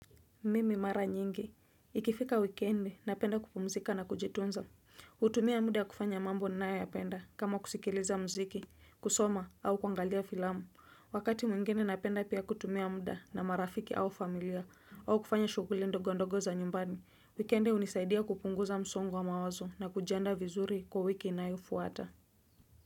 Mimi mara nyingi. Ikifika wikendi napenda kupumzika na kujitunza. Hutumia muda kufanya mambo ninayoyapenda kama kusikiliza mziki, kusoma au kuangalia filamu. Wakati mwingine napenda pia kutumia muda na marafiki au familia au kufanya shughuli ndog ndogo za nyumbani. Wikendi hunisaidia kupunguza msongo wa mawazo na kujiandaa vizuri kwa wiki inayofuata.